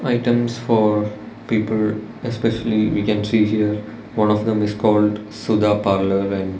items for people especially we can see here one of them is called sudha parlour and --